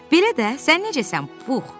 Belə də, sən necəsən, Pux?